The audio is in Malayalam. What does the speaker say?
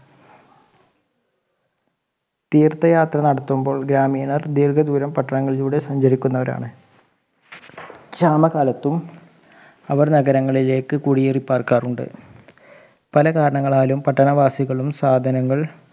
തീർത്ഥയാത്ര നടത്തുമ്പോൾ ഗ്രാമീണർ ദീർഘദൂരം പട്ടണങ്ങളിലൂടെ സഞ്ചരിക്കുന്നവരാണ് ശാമ കാലത്തും അവർ നഗരങ്ങളിലേക്ക് കുടിയേറി പാർക്കാറുണ്ട് പല കാരണങ്ങളാലും പട്ടണവാസികളും സാധനങ്ങൾ